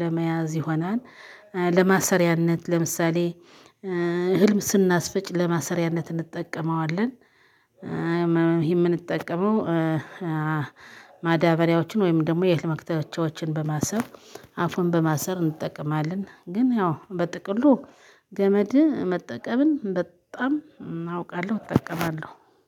ለመያዝ ይሆናል። ለማሰሪያነት ለምሳሌ እህልም ስናስፈጭ ለማሰሪያነት እንጠቀመዋለን። ይሄ የምንጠቀመው ማዳበሪያዎችን ወይም ደግሞ የትምክራቶቻቸውን በማሰብ አፉን በማሰር እንጠቀማለን። ግን ያው በጥቅሉ ገመድ መጠቀምን በጣም አውቃለሁ እጠቀማለሁ።